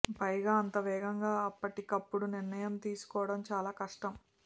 పైగా అంత వేగంగా అప్పటికప్పుడు నిర్ణయం తీసుకోవడం చాలా కష్టం